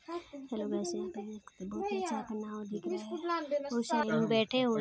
hello guys यहाँ पे एक बहुत ही अच्छा एक नांव दिख रहा है उसमे बहुत सारे लोग बैठे हुए--